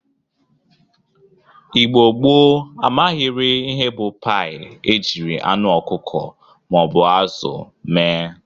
Igbo gboo amaghịrị ihe bụ paị e jiri anụ ọkụkụ ma ọ bụ azụ mee.